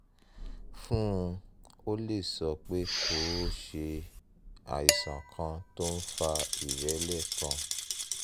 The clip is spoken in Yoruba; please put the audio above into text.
fún un o lè sọ pé kó o ṣe àìsàn kan tó ń fa ìrẹ́lẹ̀ kan